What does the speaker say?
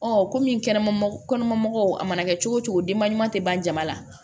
kɔmi kɛnɛma kɔnɔmaw a mana kɛ cogo o cogo denba ɲuman tɛ ban jama la